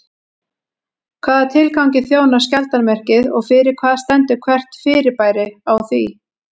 Hvaða tilgangi þjónar skjaldarmerkið og fyrir hvað stendur hvert fyrirbæri á því?